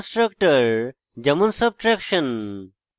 default constructor যেমন: subtraction